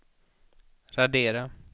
radera